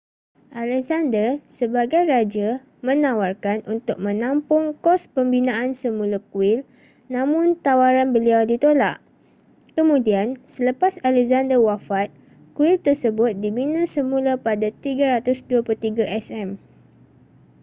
alexander sebagai raja menawarkan untuk menampung kos pembinaan semula kuil namun tawaran beliau ditolak kemudian selepas alexander wafat kuil tersebut dibina semula pada 323 sm